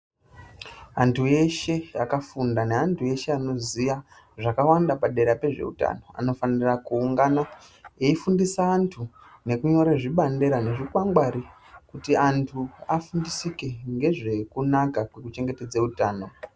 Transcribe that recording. Anthu eshe akafunda neanthu eshe anoziya zvakawanda padera pezveutano anofanira kuungana eifundisa anthu nekunyora zvibandira nezvikwangwari kuti anthu afundisike ngezvekunaka kwekuchengetedze utano.